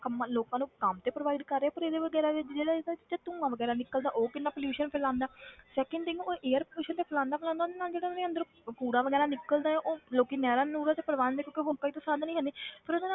ਕੰਮਾਂ ਲੋਕਾਂ ਨੂੰ ਕੰਮ ਤੇ provide ਕਰ ਰਿਹਾ ਪਰ ਇਹਦੇ ਵਗ਼ੈਰਾ ਜਿਹੜਾ ਇਹਦੇ ਵਿੱਚ ਧੂੰਆ ਵਗ਼ੈਰਾ ਨਿੱਕਲਦਾ ਉਹ ਕਿੰਨਾ pollution ਫੈਲਾਉਂਦਾ ਹੈ second thing ਉਹ air pollution ਤੇ ਫੈਲਾਉਂਦਾ ਫੈਲਾਉਂਦਾ ਉਹਦੇ ਨਾਲ ਜਿਹੜਾ ਉਹਦੇ ਅੰਦਰ ਅਹ ਕੂੜਾ ਵਗ਼ੈਰਾ ਨਿੱਕਲਦਾ ਹੈ ਉਹ ਲੋਕੀ ਨਹਿਰਾਂ ਨੂਹਰਾਂ ਪਵਾਉਂਦੇ ਕਿਉਂਕਿ ਹੋਰ ਕੋਈ ਤਾਂ ਸਾਧਨ ਹੀ ਹੈ ਨੀ ਪਰ